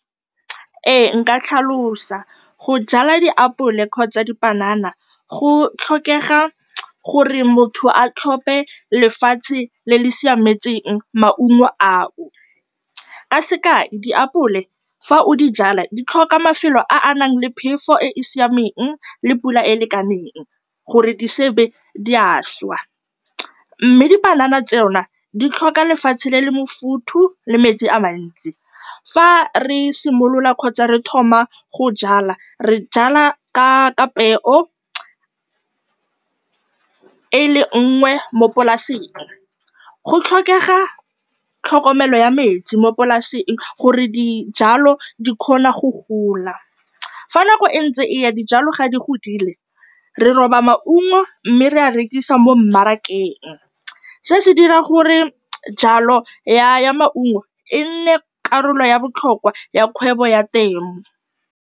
Ee nka tlhalosa, go jwala diapole kgotsa dipanana go tlhokega gore motho a tlhophe lefatshe le le siametseng maungo ao. Ka sekai, diapole fa o di jwala, di tlhoka mafelo a a nang le phefo e e siameng le pula e e lekaneng gore di se ke tsa šwa mme dipanana tsona di tlhoka lefatshe le le mofuthu le metsi a a mantsi. Fa re simolola kgotsa re thoma go jwala, re jwala ka ka peo e le nngwe mo polaseng, go tlhokega tlhokomelo ya metsi mo polaseng gore dijalo di kgone go gola. Fa nako e ntse e ya, dijalo fa di godile re roba maungo mme re a rekisa mo mmarakeng. Se se dira gore jwalo ya maungo e nne karolo ya botlhokwa ya kgwebo ya temo.